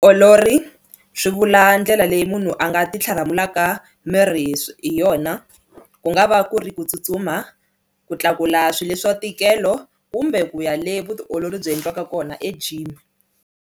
Olori swi vula ndlela leyi munhu a nga ti tlharamulaka miri hi hi yona ku nga va ku ri ku tsutsuma ku tlakula swilo leswa ntikelo kumbe ku ya le vutiolori byi endliwaka kona egym.